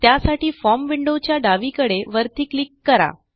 त्यासाठी फॉर्म विंडोच्या डावीकडे वरती क्लिक करा